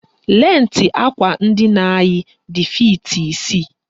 Lentị àkwà ndina anyị dị fiiti isii